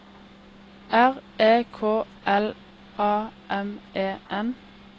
R E K L A M E N